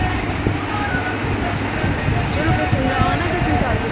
ਹਮ ok ਜੀ ਚਲੋ ਫੀ ਚੰਗਾ ਆਨਾ ਕਿਸੇ ਦਿਨ ਘਰ